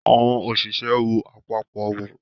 Àwọn òṣìṣẹ́ wọ àpapọ̀ wọn.